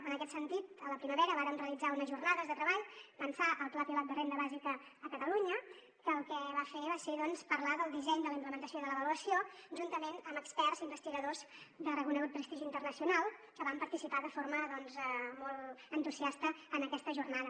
en aquest sentit a la primavera vàrem realitzar unes jornades de treball pensar el pla pilot de renda bàsica per a catalunya que el que s’hi va fer va ser doncs parlar del disseny de la implementació de l’avaluació juntament amb experts investigadors de reconegut prestigi internacional que van participar de forma molt entusiasta en aquesta jornada